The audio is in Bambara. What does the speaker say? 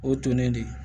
O ye tolen de ye